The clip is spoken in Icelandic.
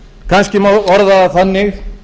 kannski má orða það þannig